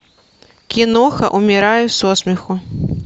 киноха умираю со смеху